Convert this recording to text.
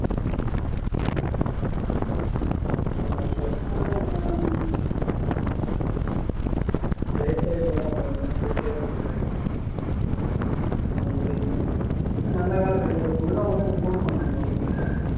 life ல வெட்டியதை போகுது life ல எது நல்ல வேல கிடைக்கல